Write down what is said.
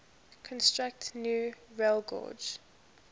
construct new railgauge